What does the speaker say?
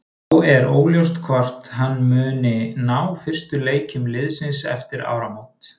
Þá er óljóst hvort hann muni ná fyrstu leikjum liðsins eftir áramót.